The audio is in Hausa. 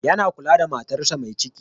Yana kula da matarsa mai ciki.